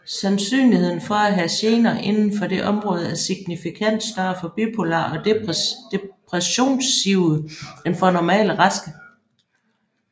Sandsynligheden for at have gener inden for det område er signifikant større for bipolare og depressionsive end for normalt raske